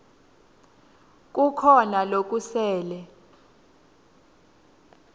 kukhona lokusele